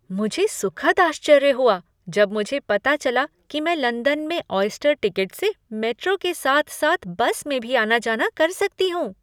मुझे सुखद आश्चर्य हुआ जब मुझे पता चला कि मैं लंदन में ऑयस्टर टिकट से मेट्रो के साथ साथ बस में भी आना जाना कर सकती हूँ।